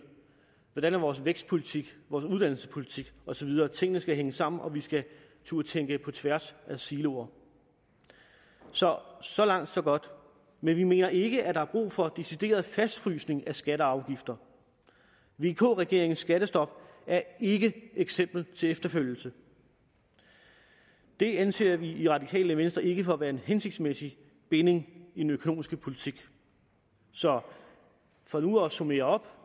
vores vækstpolitik vores uddannelsespolitik og så videre tingene skal hænge sammen og vi skal turde tænke på tværs af siloer så så langt så godt men vi mener ikke at der er brug for decideret fastfrysning af skatter og afgifter vk regeringens skattestop er ikke et eksempel til efterfølgelse det anser vi i det radikale venstre ikke for at være en hensigtsmæssig binding i den økonomiske politik så for nu at summere op